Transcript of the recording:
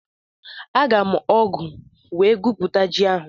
Aga m ọ́gụ̀ wee gwupute ji ahụ.